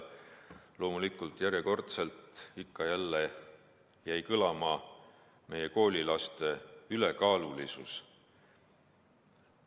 Loomulikult, järjekordselt jäi ikka ja jälle kõlama meie koolilaste ülekaalulisus.